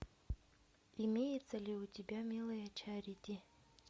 имеется ли у тебя милая чарити